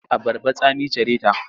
Abarbar tsami care ta.